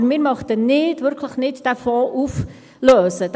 Aber wir möchten diesen Fonds nicht – wirklich nicht – auflösen.